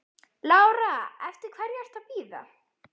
Lára: Eftir hverri ertu að bíða?